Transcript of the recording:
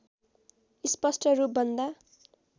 स्पष्ट रूप भन्दा